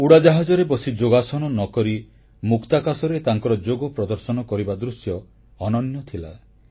ଉଡ଼ାଜାହାଜରେ ବସି ଯୋଗାସନ ନ କରି ମୁକ୍ତାକାଶରେ ତାଙ୍କର ଯୋଗ ପ୍ରଦର୍ଶନ କରିବା ଦୃଶ୍ୟ ଅନନ୍ୟ ଥିଲା